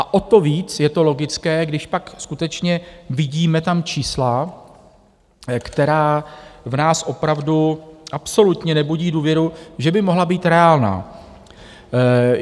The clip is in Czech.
A o to víc je to logické, když pak skutečně vidíme tam čísla, která v nás opravdu absolutně nebudí důvěru, že by mohla být reálná.